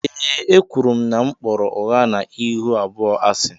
Ee e kwụrụ m na m kpọrọ ụgha na ịhụ abụọ asi.